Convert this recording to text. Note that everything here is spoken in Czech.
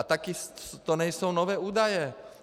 A taky to nejsou nové údaje.